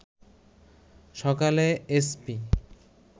সকালে এসপি